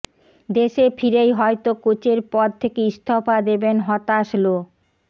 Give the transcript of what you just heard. দেশে ফিরেই হয়তো কোচের পদ থেকে ইস্তফা দেবেন হতাশ লো